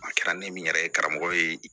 A kɛra ne min yɛrɛ ye karamɔgɔ ye